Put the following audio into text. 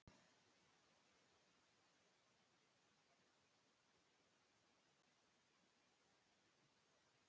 Væri ekki sól úti, þá var jafnan sól inni.